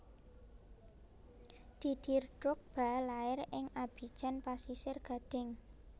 Didier Drogba lair ing Abidjan Pasisir Gading